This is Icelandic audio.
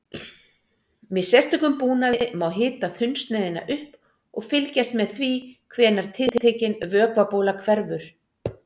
Með sérstökum búnaði má hita þunnsneiðina upp og fylgjast með því hvenær tiltekin vökvabóla hverfur.